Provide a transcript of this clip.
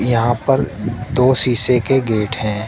यहां पर दो शीशे के गेट हैं।